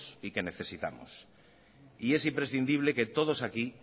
y que necesitamos y es imprescindible que todos aquí